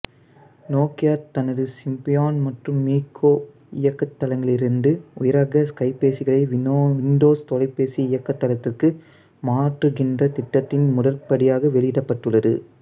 Nokia தனது Symbian மற்றும் MeeGo இயங்குதளங்களிலிருந்து உயர்ரக கைபேசிகளை விண்டோசு தொலைபேசி இயங்குதளத்திற்கு மாற்றுகின்ற திட்டத்தின் முதற்படியாக வெளியிடப்பட்டுள்ளது